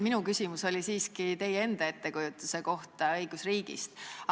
Minu küsimus oli siiski teie enda ettekujutuse kohta õigusriigist.